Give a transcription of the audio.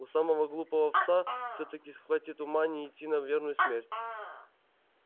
у самого глупого пса всё-таки схватит ума не идти на верную смерть